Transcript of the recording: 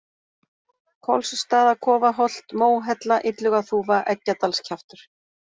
Kolsstaðakofaholt, Móhella, Illugaþúfa, Eggjadalskjaftur